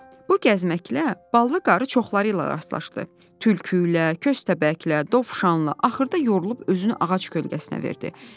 Bu gəzməklə Ballı qarı çoxlarıyla rastlaşdı: tülküylə, köstəbəklə, dovşanla, axırda yorulub özünü ağac kölgəsinə verdi.